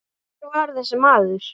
Og nú ýfist konan öll.